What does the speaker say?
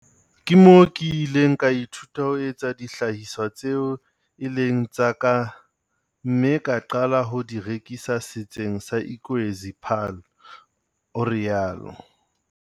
Ke moo ke ileng ka ithuta ho etsa dihlahiswa tseo e leng tsa ka, mme ka qala ho di rekisa setseng sa Ikwezi Paarl, o rialo.